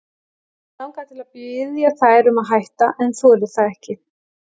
Hana langar til að biðja þær um að hætta en þorir það ekki.